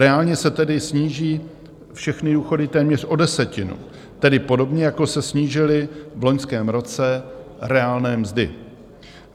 Reálně se tedy sníží všechny důchody téměř o desetinu, tedy podobně jako se snížily v loňském roce reálné mzdy.